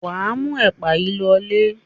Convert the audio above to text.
Wà á mú ẹ̀pà yìí lọlé.